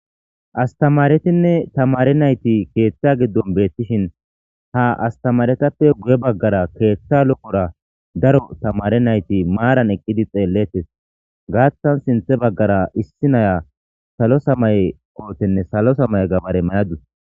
Astamaretinne tamare nayti keeththa giddon beettishin ha astamaretappe guye baggara keeththa loqora daro tamare nayti maaran eqqidi xeellettes gaaththan sinthe baggara issi naya salo samaye kootenne salo samay gabare mayadus,